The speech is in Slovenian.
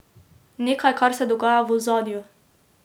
Nekaj, kar se dogaja v ozadju.